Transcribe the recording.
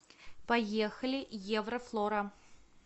поехали еврофлора